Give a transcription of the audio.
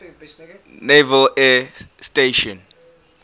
naval air station